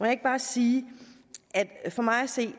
ikke bare sige at for mig at se